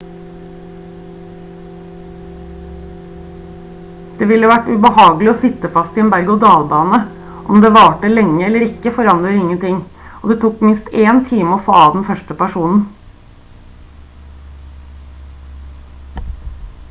«det ville vært ubehagelig å sitte fast i en berg og dalbane om det varte lenge eller ikke forandrer ingenting og det tok minst én time å få av den første personen.»